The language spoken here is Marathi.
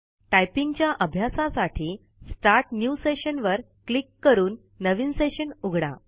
टाईपिंगच्या आभ्यासासाठी स्टार्ट न्यू सेशन वर क्लिक करून नवीन सेशन उघडा